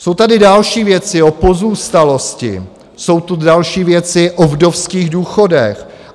Jsou tady další věci - o pozůstalosti, jsou tu další věci - o vdovských důchodech.